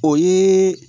O ye